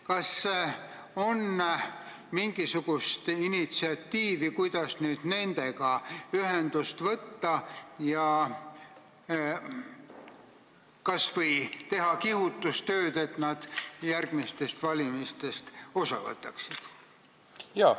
Kas on näidatud üles mingisugust initsiatiivi, et nendega ühendust võtta ja kas või teha kihutustööd, et nad järgmistest valimistest osa võtaksid?